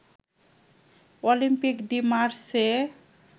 Olympic de Marseille